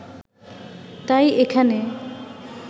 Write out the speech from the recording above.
তাই এখানে